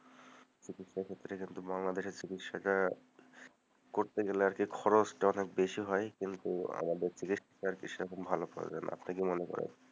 সেক্ষেত্তে কিন্তু বাংলাদেশের চিকিৎসাটা করতে গেলে আরকি খরচটা অনেক বেশি হয় কিন্তু আমাদের চিকিৎসাটা সেরকম ভালো করে না, আপনি কি মনে করেন?